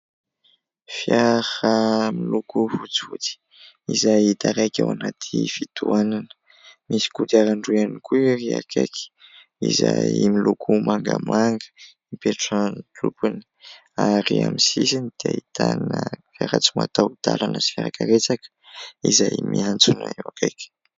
Fiara miloko fotsifotsy izay taraiky ao anaty fitohanana, misy kodiaran-droa ihany koa ery akaiky izay miloko mangamanga ; ipetrahan'ny tompony ary amin'ny sisiny dia ahitana fiara tsy mataho-dalana sy fiarakaretsaka izay miantsona eo akaiky.